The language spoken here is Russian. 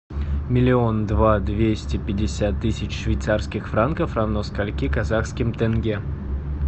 миллион два двести пятьдесят тысяч швейцарских франков равно скольки казахским тенге